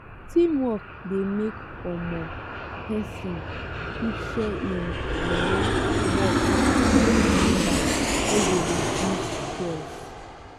teamwork de make um persin fit share im um work give members wey go reduce stress